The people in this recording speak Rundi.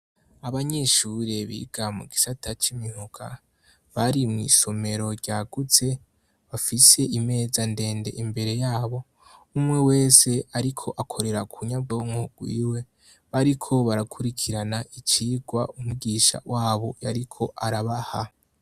Abanyishure biga mu gisata c'imihuka bari mw'isomero ryagutse bafise imeza ndende imbere yabo umwe wese, ariko akorera ku nyabonko rwiwe bariko barakurikirana icirwa umugisha wabo yariko arabaha.